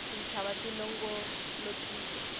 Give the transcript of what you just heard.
tintshava ti longolokile